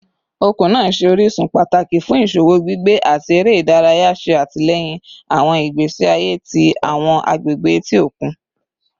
Okun naa jẹ orisun pataki fun iṣowo, gbigbe, ati ere idaraya, ṣe atilẹyin awọn igbesi aye ti awọn agbegbe eti okun